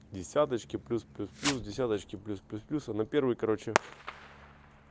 десяточки плюс плюс плюс десяточки плюс плюс плюс а на первой короче